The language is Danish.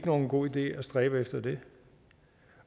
nogen god idé at stræbe efter det